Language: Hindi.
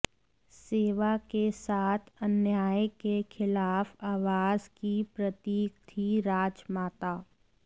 सेवा के साथ अन्याय के खिलाफ आवाज की प्रतीक थीं राजमाता